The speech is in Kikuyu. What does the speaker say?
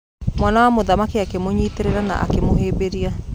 Mwana wa mũthamaki akĩmũnyitĩrĩra na akĩmũhĩmbĩria.